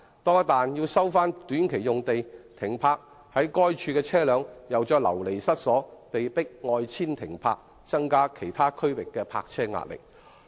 一旦短期用地被收回，在該處停泊的車輛便會再度流離失所，被迫外遷停泊，令其他地區的泊車位壓力有所增加。